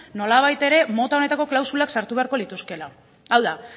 nolabait ere mota honetako klausula sartu beharko lituzkeela hau da